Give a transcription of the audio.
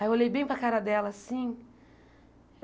Aí eu olhei bem para a cara dela assim.